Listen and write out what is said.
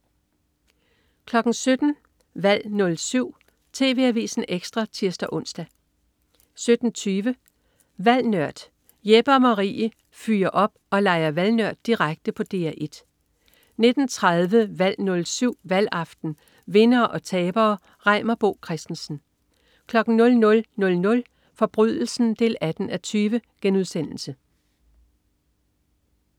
17.00 Valg 07. TV Avisen Ekstra (tirs-ons) 17.20 Valg Nørd. Jeppe og Marie fyrer op og leger valgnørd direkte på DR1 19.30 Valg 07. Valgaften. Vindere og tabere. Reimer Bo Christensen 00.00 Forbrydelsen 18:20*